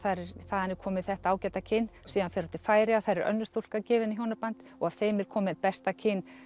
þaðan er komið þetta ágæta kyn síðan fer hún til Færeyja þar er önnur stúlka gefin í hjónaband og af þeim er komið besta kyn